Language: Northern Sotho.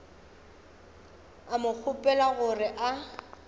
a mo kgopela gore a